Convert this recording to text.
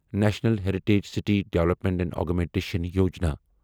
national heritage city development and augmentation Yojana